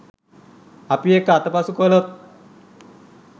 අපි ඒක අතපසු කලොත්